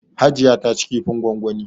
Hajiya ta ci kifin gwangwani.